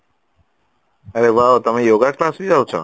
ଆରେ wow ତମେ yoga class ଵି ଯାଉଚ